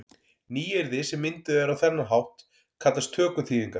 Nýyrði sem mynduð eru á þennan hátt kallast tökuþýðingar.